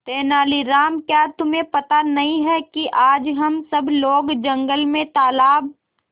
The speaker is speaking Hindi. तेनालीराम क्या तुम्हें पता नहीं है कि आज हम सब लोग जंगल में तालाब